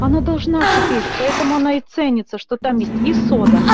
она должна шипеть поэтому она и ценится что там есть и сода